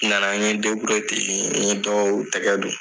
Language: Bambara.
N nana, n ɲe n ten, n ɲe dɔw tɛgɛ don.